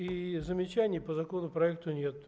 и замечаний по законопроекту нет